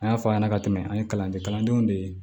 An y'a fɔ a ɲɛna ka tɛmɛ an ye kalan kɛ kalandenw de ye